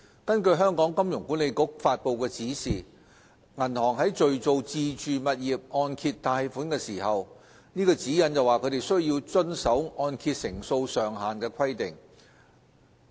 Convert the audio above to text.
根據香港金融管理局發布的指引，銀行在敘造自住物業按揭貸款的時候，須遵守按揭成數上限的規定。